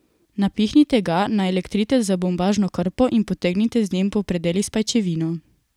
Napihnite ga, naelektrite z bombažno krpo in potegnite z njim po predelih s pajčevino.